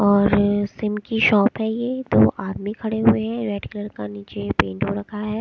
और सिम की शॉप है ये दो आदमी खड़े हुए हैं रेड कलर का नीचे पेंट हो रखा है।